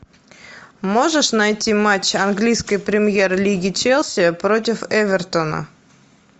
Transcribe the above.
можешь найти матч английской премьер лиги челси против эвертона